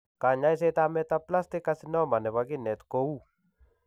Kanyaiset ab metaplastic carcinoma nebo kinet ko uu